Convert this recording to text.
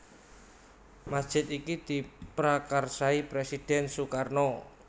Masjid iki diprakarsai Presiden Sukarno